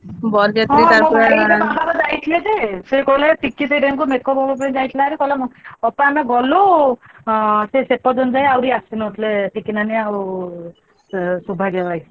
ହଁ ହଁ ବରଯାତ୍ରୀ ଯାଇଥିଲେ ଯେ ଅପା ଆମେ ଗଲୁ ହଁ ସିଏ ସେତେବେଳ ଯାଏ ଆସିନଥିଲେ, ଟିକି ନାନି ଆଉ ସୌଭାଗ୍ୟ ଭାଇ।